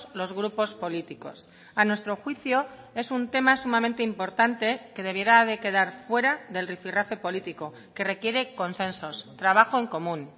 los grupos políticos a nuestro juicio es un tema sumamente importante que debiera de quedar fuera del rifirrafe político que requiere consensos trabajo en común